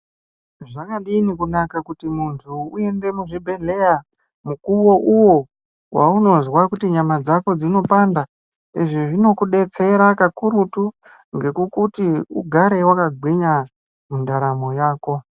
Zvakadini kunaka kuti muntu uende muzviibhedhleya mukuwo uwo waunozwa kuti nyama dzako dzinopanda. Izvi zvinokudetsera kakurutu kuti ugare wakagwinya mundaramo yako.